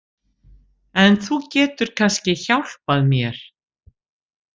En þú getur kannski hjálpað mér.